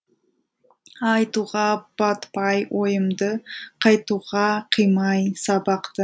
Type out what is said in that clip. айтуға батпай ойымды қайтуға қимай сабақты